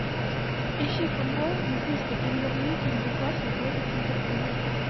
ищи футбол английской премьер лиги ньюкасл против ливерпуля